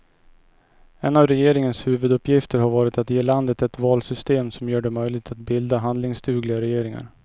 En av regeringens huvuduppgifter har varit att ge landet ett valsystem som gör det möjligt att bilda handlingsdugliga regeringar.